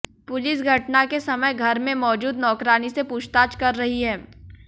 police घटना के समय घर में मौजूद नौकरानी से पूछताछ कर रही है